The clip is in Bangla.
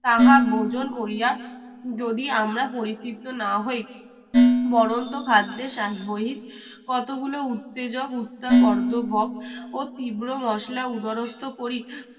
তাহা বোজন করিয়া যদি আমরা পরিচিত না হই বরণতো খাদ্যে চাষ বহিত কতগুলো উত্তেজক উত্তাপর্দভক ও তীব্র মসলা উদারস্থ করি